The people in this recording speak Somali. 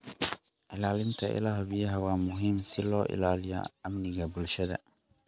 Ilaalinta ilaha biyaha waa muhiim si loo ilaaliyo amniga bulshada.